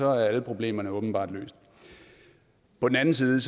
er alle problemerne åbenbart løst på den anden side